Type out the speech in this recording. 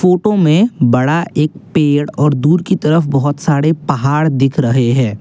Photo में बड़ा एक पेड़ और दूर की तरफ बहुत सारे पहाड़ दिख रहे है।